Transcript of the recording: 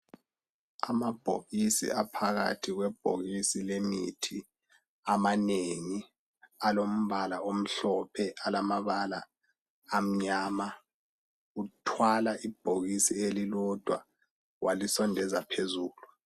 Amabhokisi aphakathi kwebhokisi lemithi amanengi alombala omhlophe alamabala amnyama uthwala ibhokisi elilodwa walisondeza phezulu.